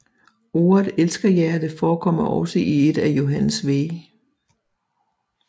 Ordet elskerhjerte forekommer også i et af Johannes V